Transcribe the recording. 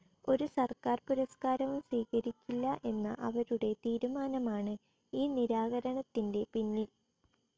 ഒരു സർക്കാർ പുരസ്കാരവും സ്വീകരിക്കില്ല എന്ന അവരുടെ തീരുമാനമാണ് ഈ നിരാകരണത്തിൻ്റെപിന്നിൽ.